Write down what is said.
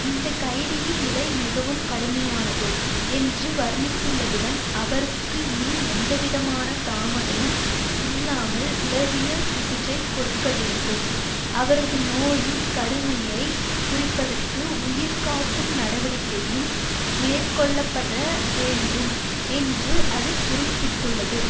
இந்த கைதியின் நிலை மிகவும் கடுமையானது என்று வர்ணித்துள்ளதுடன் அவருக்கு இனி எந்தவிதமான தாமதமும் இல்லாமல் உளவியல் சிகிச்சை கொடுக்க வேண்டும் அவரது நோயின் கடுமையை குறிப்பதற்கு உயிர் காக்கும் நடவடிக்கையும் மேற்கொள்ள பட வேண்டும் என்று அது குறிப்பிட்டுள்ளது